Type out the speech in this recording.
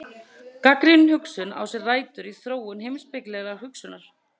Gagnrýnin hugsun á sér rætur í þróun heimspekilegrar hugsunar.